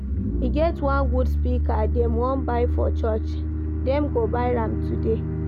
E get one good speaker dem wan buy for church, dem go buy am today